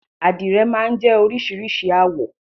Àdìrẹ̀ máa ń jẹ́ oríṣìíríṣìí àwọ̀.